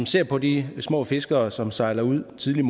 ser på de små fiskere som sejler ud tidligt